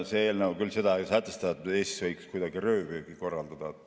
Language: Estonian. See eelnõu küll seda ei sätesta, et Eestis võiks kuidagi röövpüüki korraldada.